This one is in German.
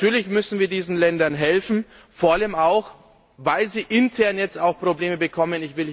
Natürlich müssen wir diesen Ländern helfen, vor allem auch, weil sie intern jetzt auch Probleme bekommen.